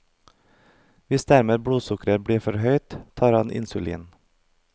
Hvis derimot blodsukkeret blir for høyt, tar han insulin.